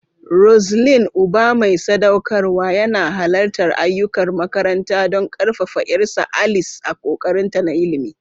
Roseline, uba mai sadaukarwa, yana halartar ayyukan makaranta don ƙarfafa 'yarsa, Alice, a ƙoƙarinta na ilimi.